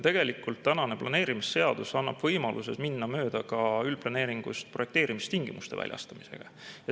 Tegelikult tänane planeerimisseadus annab võimaluse minna mööda ka üldplaneeringust projekteerimistingimuste väljastamisega.